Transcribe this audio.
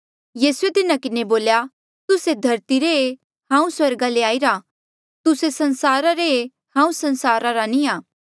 यीसूए तिन्हा किन्हें बोल्या तुस्से धरती रे ऐें पर हांऊँ स्वर्गा ले आईरा तुस्से संसारा रे ऐें हांऊँ संसारा नी आ